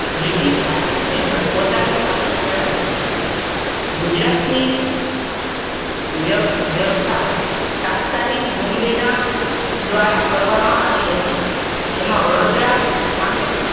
British શાસન હેઠળ પોતાનું શાસન ચલાવ્યું. ગુજરાતની શાસન વ્ય વ્યવસ્થા તાત્કાલિન બોમ્બે ના શાસક દ્વારા કરવામાં આવી હતી. જેમાં વડોદરા સામે